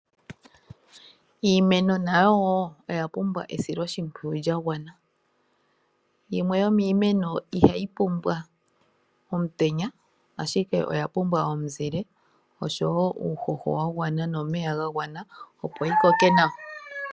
Iimeno nayo wo oya pumbwa esiloshimpwiyu lya gwana. Yimwe yomiimeno ihayi pumbwa omutenya, ashike oya pumbwa omuzile oshowo uuhoho wa gwana, nomeya ga gwana opo yi koke nawa.